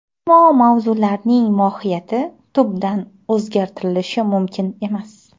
Ammo mavzularning mohiyati tubdan o‘zgartirilishi mumkin emas.